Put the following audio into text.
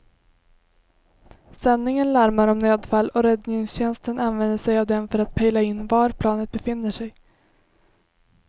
Sändningen larmar om nödfall och räddningstjänsten använder sig av den för att pejla in var planet befinner sig.